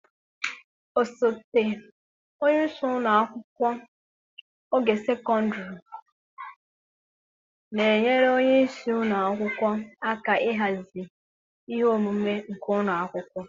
Osote onye isi ụlọ akwụkwọ ogo sekondịrị na-enyere onye isi ụlọ akwụkwọ aka ịhazi ihe omume nke ụlọ akwụkwọ.